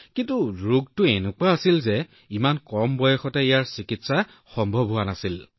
কিন্তু ৰোগটো এনেকুৱা আছিল যে ইমান কম বয়সতে ইয়াৰ চিকিৎসা সম্ভৱ হোৱা নাছিল